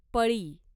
पळी